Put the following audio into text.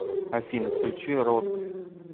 афина включи родг